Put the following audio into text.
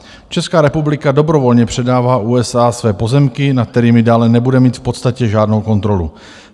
Česká republika dobrovolně předává USA své pozemky, nad kterými dále nebude mít v podstatě žádnou kontrolu.